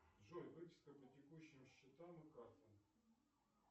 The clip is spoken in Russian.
джой выписка по текущим счетам и картам